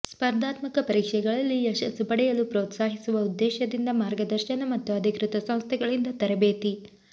ಸ್ಪರ್ಧಾತ್ಮಕ ಪರೀಕ್ಷೆಗಳಲ್ಲಿ ಯಶಸ್ಸು ಪಡೆಯಲು ಪ್ರೋತ್ಸಾಹಿಸುವ ಉದ್ದೇಶದಿಂದ ಮಾರ್ಗದರ್ಶನ ಮತ್ತು ಅಧಿಕೃತ ಸಂಸ್ಥೆಗಳಿಂದ ತರಬೇತಿ